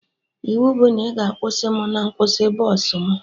Iwu bụ na ị ga-akwụsị mụ na nkwụsị bọsụ mụ